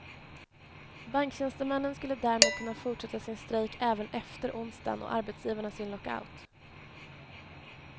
Banktjänstemännen skulle därmed kunna fortsätta sin strejk även efter onsdagen och arbetsgivarna sin lockout.